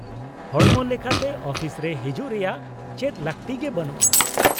-ᱦᱚᱲᱢᱚ ᱞᱮᱠᱟᱛᱮ ᱟᱹᱯᱷᱤᱥᱨᱮ ᱦᱤᱡᱩᱜ ᱨᱮᱭᱟᱜ ᱪᱮᱫ ᱞᱟᱹᱠᱛᱤ ᱜᱮ ᱵᱟᱹᱱᱩᱜᱼᱟ ᱾